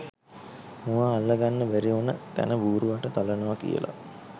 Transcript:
මුවා අල්ලගන්න බැරිඋන තැන බූරැවට තලනවා කියලා